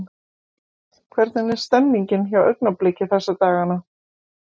Hvernig er stemningin hjá Augnabliki þessa dagana?